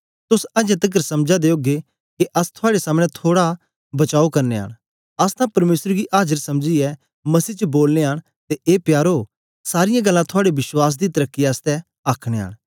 तोस अजें तकर समझा दे ओगे के अस थुआड़े सामने थोड़ा बचाओ करानयां न अस तां परमेसर गी आजर समझीयै मसीह च बोलनयां न ते ए प्यारो सारीयां गल्लां थुआड़े विश्वास दी तरक्की आसतै आखनयां न